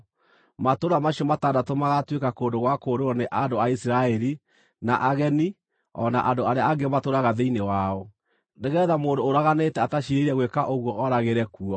Matũũra macio matandatũ magaatuĩka kũndũ gwa kũũrĩrwo nĩ andũ a Isiraeli, na ageni, o na andũ arĩa angĩ matũũraga thĩinĩ wao, nĩgeetha mũndũ ũraganĩte ataciirĩire gwĩka ũguo ooragĩre kuo.